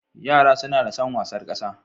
Yara suna da san wasar kasa.